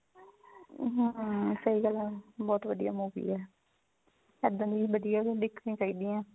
ਹਾਂ ਸਹੀ ਗੱਲ ਹੈ ਬਹੁਤ ਵਧੀਆ movie ਹੈ ਇੱਦਾਂ ਦੀ ਵਧੀਆ ਹੀ ਦੇਖਣੀਆਂ ਚਾਹੀਦੀਆਂ